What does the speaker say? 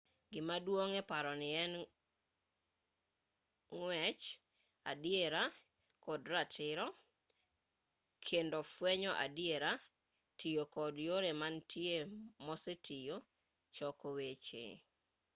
gima duong' eparoni en ng'wech adiera kod ratiro kendo fwenyo adiera tiyo kod yore mantie mosetiyo choko weche